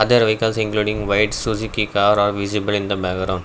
other vehicles including white suzuki car are visible in the background.